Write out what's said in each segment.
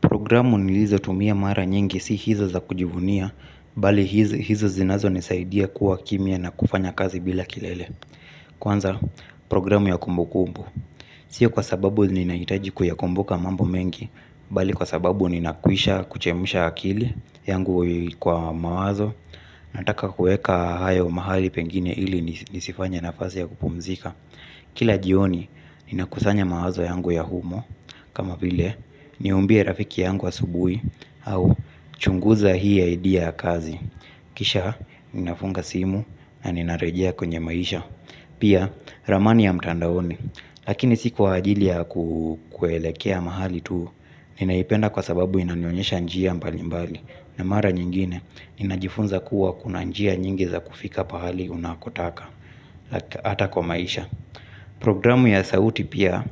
Programu nilizo tumia mara nyingi si hizo za kujivunia, bali hizo zinazo nisaidia kuwa kimia na kufanya kazi bila kelele. Kwanza, programu ya kumbu kumbu. Sio kwa sababu ninaitaji kuyakumbuka mambo mengi, bali kwa sababu ninakwisha kuchemisha akili yangu kwa mawazo, nataka kueka haya umahali pengine ili nisifanye na fasi ya kupumzika. Kila jioni ninakusanya mawazo yangu ya humo. Kama vile ni umbiye rafiki yangu asubui. Au chunguza hii ya edia ya kazi. Kisha ninafunga simu na ninarejea kwenye maisha. Pia ramani ya mtandaoni. Lakini siku kwa ajili ya kuelekea mahali tuu. Ninaipenda kwa sababu inanionyesha njia mbalimbali. Na mara nyingine ninajifunza kuwa kuna njia nyingi za kufika pahali unakotaka. Hata kwa maisha. Programu ya sauti pia,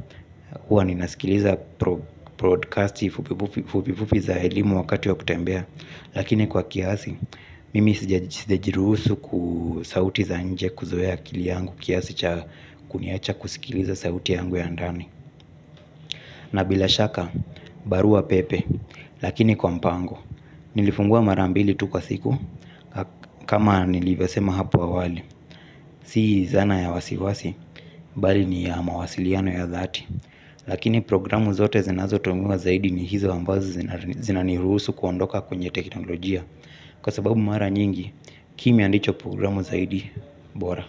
hua ninasikiliza broadcasti fupifufi za elimu wakati ya kutembea. Lakini kwa kiasi, mimi sijajirusu kusauti za nje kuzoeya akili yangu kiasi cha kuniacha kusikiliza sauti yangu ya ndani. Na bila shaka, barua pepe, lakini kwa mpango. Nilifungua marambili tu kwa siku, kama nilivesema hapu awali. Sii zana ya wasiwasi, bali ni ya mawasiliano ya dhati. Lakini programu zote zinazo tongowa zaidi ni hizo ambazo zinaniruhusu kuondoka kwenye teknolojiya. Kwa sababu mara nyingi, kimya ndicho programu zaidi, bora.